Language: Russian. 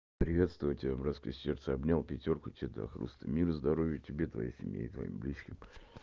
приветствую тебя братское сердце обнял пятёрку тебе да хлыст мир и здоровье тебе и твоей семье и твоим близким